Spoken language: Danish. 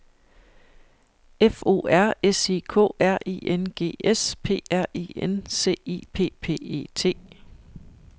F O R S I K R I N G S P R I N C I P P E T